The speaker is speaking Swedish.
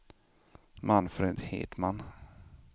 Manfred Hedman